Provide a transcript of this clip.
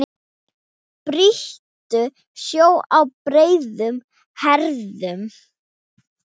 Brýtur sjó á breiðum herðum.